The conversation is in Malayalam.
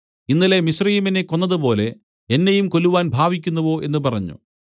ഇന്നലെ മിസ്രയീമ്യനെ കൊന്നതുപോലെ എന്നെയും കൊല്ലുവാൻ ഭാവിക്കുന്നുവോ എന്ന് പറഞ്ഞു